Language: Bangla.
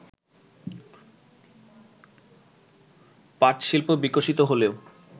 পাটশিল্প বিকশিত হলেও